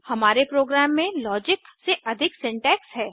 हमारे प्रोग्राम में लॉजिक से अधिक सिंटैक्स है